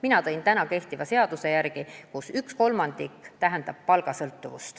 Mina lähtusin kehtivast seadusest, mille kohaselt üks kolmandik sõltub palgast.